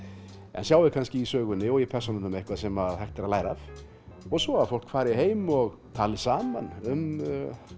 en sjái kannski í sögunni og í persónunum eitthvað sem hægt er að læra af og svo að fólk fari heim og tali saman um